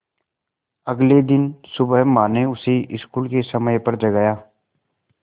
अगले दिन सुबह माँ ने उसे स्कूल के समय पर जगाया